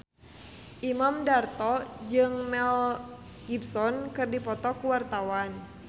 Imam Darto jeung Mel Gibson keur dipoto ku wartawan